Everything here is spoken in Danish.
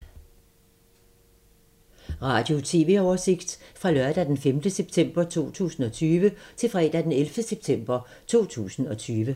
Radio/TV oversigt fra lørdag d. 5. september 2020 til fredag d. 11. september 2020